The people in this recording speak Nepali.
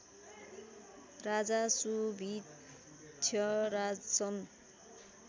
राजा सुभिक्षराज सन्